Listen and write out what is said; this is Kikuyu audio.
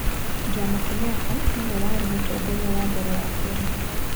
Jomo Kenyatta nĩwe warĩ Mũtongoria wa mbere wa Kenya.